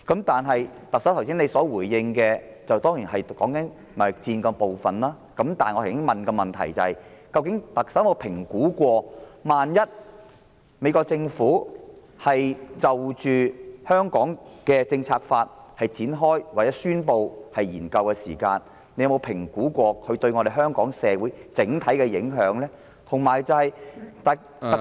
特首剛才的回應是關乎貿易戰的部分，但我剛才提出的質詢是，究竟特首有否評估一旦美國政府就《香港政策法》展開或宣布進行研究將會對香港社會造成的整體影響？